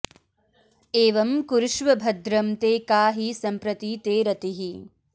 एवं कुरुष्व भद्रं ते का हि सम्प्रति ते रतिः